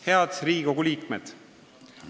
Head Riigikogu liikmed!